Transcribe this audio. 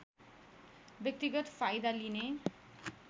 व्यक्तिगत फाइदा लिने